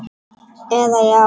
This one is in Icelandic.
eða Já!